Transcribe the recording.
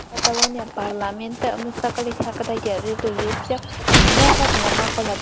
Kataloniya parlamenti mustaqillik haqidagi rezolyutsiya loyihasini ma’qulladi.